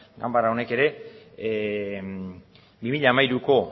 ganbara honek ere bi mila hamairuko